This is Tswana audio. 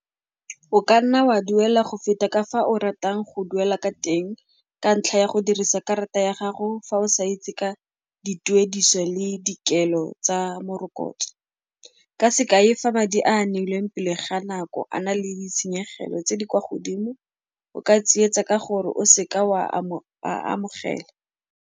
Oka nna wa duela go feta ka fa o ratang go duela ka teng ka ntlha ya go dirisa karata ya gago fa o sa itse ka dituediso le dikelo tsa morokotso. Ka sekai, fa madi a a neilweng pele ga nako a na le ditshenyegelo tse di kwa godimo, o ka tsietsa ka gore o seka wa a amogela.